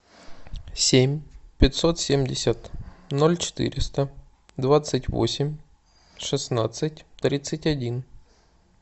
семь пятьсот семьдесят ноль четыреста двадцать восемь шестнадцать тридцать один